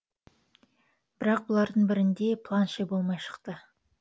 бірақ бұлардың бірінде де планше болмай шықты